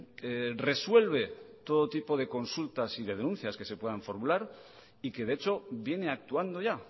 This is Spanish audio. que resuelve todo tipo de consultas y de denuncias que se puedan formular y que de hecho viene actuando ya